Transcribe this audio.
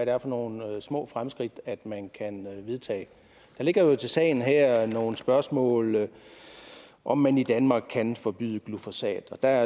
er for nogle små fremskridt man kan vedtage der ligger jo til sagen her nogle spørgsmål om om man i danmark kan forbyde glyfosat der